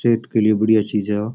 सेहत के लिए बढ़िया चीज है आ।